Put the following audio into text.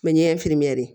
Mɛ ɲɛfimɛni